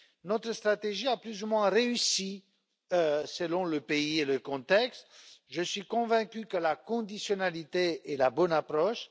Notre stratégie a plus ou moins réussi, selon le pays et le contexte, et je suis convaincu que la conditionnalité est la bonne approche.